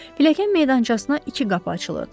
Pilləkən meydançasına iki qapı açılırdı.